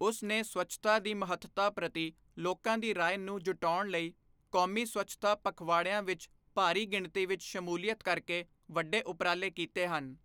ਉਸ ਨੇ ਸਵੱਛਤਾ ਦੀ ਮਹੱਤਤਾ ਪ੍ਰਤੀ ਲੋਕਾਂ ਦੀ ਰਾਏ ਨੂੰ ਜੁਟਾਉਣ ਲਈ, ਕੌਮੀ ਸਵੱਛਤਾ ਪਖਵਾੜਿਆਂ ਵਿੱਚ ਭਾਰੀ ਗਿਣਤੀ ਵਿੱਚ ਸ਼ਮੂਲੀਅਤ ਕਰਕੇ ਵੱਡੇ ਉਪਰਾਲੇ ਕੀਤੇ ਹਨ।